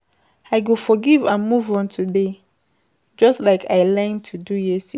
I go forgive and move on today, just like I learned to do yesterday.